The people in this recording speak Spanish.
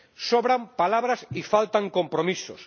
Sobran palabras y faltan compromisos.